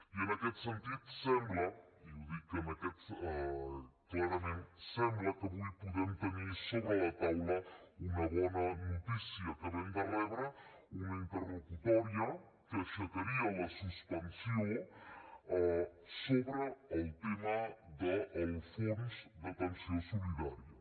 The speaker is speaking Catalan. i en aquest sentit sembla i ho dic clarament que avui podem tenir sobre la taula una bona notícia acabem de rebre una interlocutòria que aixecaria la suspensió sobre el tema del fons d’atenció solidària